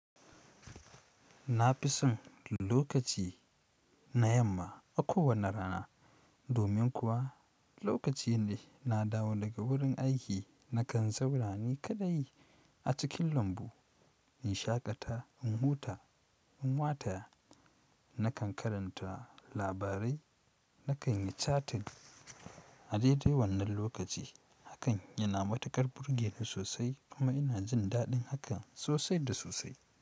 Na fi son lokaci na yamma a kowane rana domin kuwa lokacine na dawo daga wurin aiki nakan zaura ni kaɗai a cikin lambu, in shaƙata, in huta, in wataya, nakan karanta labarai, nakan yi chatting. A dede wannan lokaci hakan yana matukar burge ni sosai kuma ina jin daɗin hakan sosai da sosai.